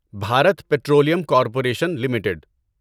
Bharat petroleum corporation limited